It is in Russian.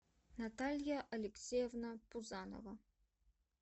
наталья алексеевна пузанова